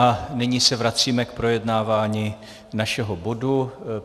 A nyní se vracíme k projednávání našeho bodu.